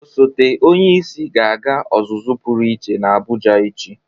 Osote onyeisi ga-aga ọzụzụ pụrụ iche n'Abụja echi.